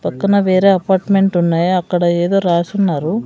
పక్కన వేరే అపార్ట్మెంట్ ఉన్నాయి అక్కడ ఏదో రాసున్నారు.